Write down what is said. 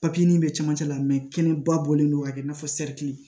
Papiye in bɛ cɛmancɛ la kɛnɛba bɔlen don ka kɛ i n'a fɔ